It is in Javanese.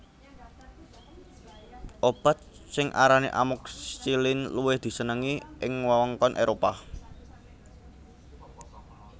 Obat sing arane amoxicillin luwih disenengi ing wewengkon Éropah